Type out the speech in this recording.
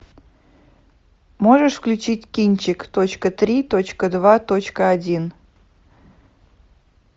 можешь включить кинчик точка три точка два точка один